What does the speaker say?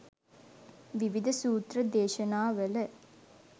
විවිධ සූත්‍ර දේශනා වල